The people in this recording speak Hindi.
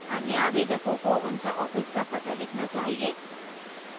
अन्य आवेदकों को उनका office का पता लिखना चाहिए